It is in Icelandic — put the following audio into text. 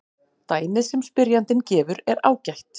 Dæmið sem spyrjandinn gefur er ágætt.